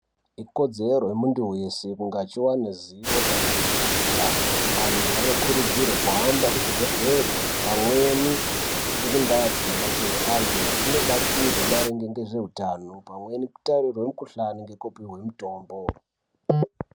Ikodzero yemuntu weshe kuti awane ruzivo maringe nezveutano. Antu anokurudzirwa kuhamba kuzvibhendleri pamweni nekundaa dzinobatsirwa antu achinobatsirwa maringe ngezveutano. Pamweni kutarirwa mukhuhlani nekupihwa mutombo.